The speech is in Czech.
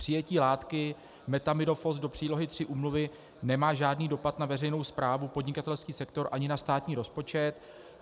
Přijetí látky methamidofos do Přílohy III úmluvy nemá žádný dopad na veřejnou správu, podnikatelský sektor ani na státní rozpočet.